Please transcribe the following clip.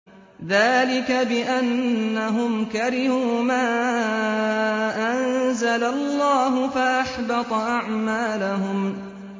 ذَٰلِكَ بِأَنَّهُمْ كَرِهُوا مَا أَنزَلَ اللَّهُ فَأَحْبَطَ أَعْمَالَهُمْ